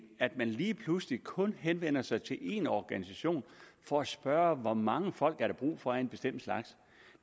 at man lige pludselig kun henvender sig til én organisation for at spørge hvor mange folk der er brug for af en bestemt slags